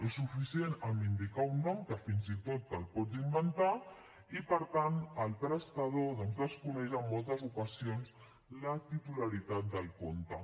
és suficient amb indicar un nom que fins i tot te’l pots inventar i per tant el prestador doncs desconeix en moltes ocasions la titularitat del compte